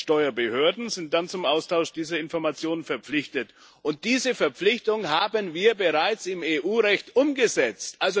Die Steuerbehörden sind dann zum Austausch dieser Informationen verpflichtet, und diese Verpflichtung haben wir bereits im EU Recht umgesetzt.